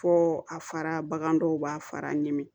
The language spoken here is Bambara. Fɔ a fara bagan dɔw b'a fara ɲimi